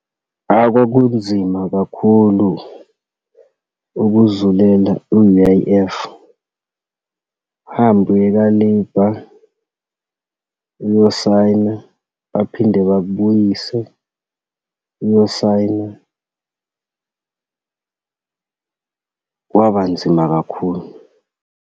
Ahh, kwakunzima kakhulu ukuzulela u-U_I_F, uhambe uye ka-labour, uyosayina, baphinde bakubuyise uyosayina. Kwaba nzima kakhulu.